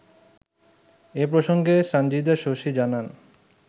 এ প্রসংগে সানজিদা শশী জানান